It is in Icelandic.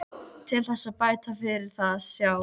Til þess að bæta fyrir það sjá